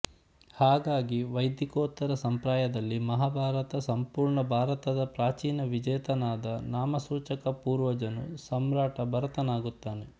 ಹಾಗಾಗಿ ವೈದಿಕೋತ್ತರ ಸಂಪ್ರದಾಯದಲ್ಲಿ ಮಹಾಭಾರತ ಸಂಪೂರ್ಣ ಭಾರತದ ಪ್ರಾಚೀನ ವಿಜೇತನಾದ ನಾಮಸೂಚಕ ಪೂರ್ವಜನು ಸಾಮ್ರಾಟ ಭರತನಾಗುತ್ತಾನೆ